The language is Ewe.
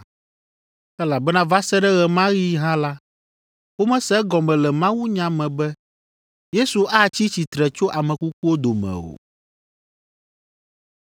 (Elabena va se ɖe ɣe ma ɣi hã la, womese egɔme le mawunya me be Yesu atsi tsitre tso ame kukuwo dome o.)